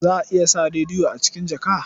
Za a iya sa rediyo a cikin jaka.